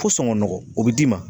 Fo sɔngɔ nɔgɔ, o bɛ d'i ma.